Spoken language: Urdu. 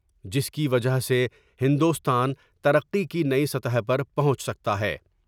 جس کی وجہ سے ہندوستان ترقی کی نئی سطح پر پہونچ سکتا ہے ۔